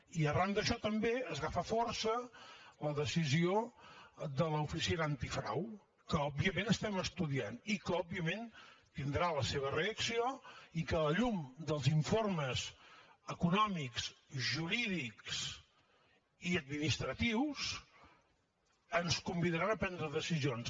i arran d’això també agafa força la decisió de l’oficina antifrau que òbviament estem estudiant i que òbviament tindrà la seva reacció i que a la llum dels informes econòmics jurídics i administratius ens convidaran a prendre decisions